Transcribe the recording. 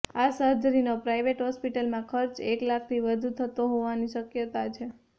આ સર્જરીનો પ્રાઇવેટ હોસ્પિટલમાં ખર્ચ એક લાખથી વધુ થતો હોવાની શક્યતા છે